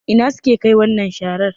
Ina suke Kai wannan sharar?